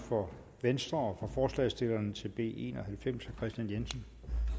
for venstre og for forslagsstillerne til b en og halvfems herre kristian jensen